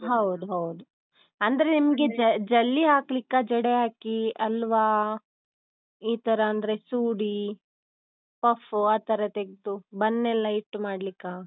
ಹೌದೌದು. ಅಂದ್ರೆ ನಿಮ್ಗೆ ಜ~ ಜಲ್ಲಿ ಹಾಕ್ಲಿಕ್ಕಾ ಜಡೆ ಹಾಕಿ ಅಲ್ವಾ ಇತರ ಅಂದ್ರೆ ಸೂಡಿ, puff ಆತರ ತೆಗ್ದು bun ನೆಲ್ಲ ಇಟ್ಟು ಮಾಡ್ಲಿಕ್ಕಾ?